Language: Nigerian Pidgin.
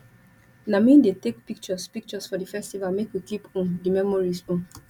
na me dey take pictures pictures for di festival make we keep um di memories um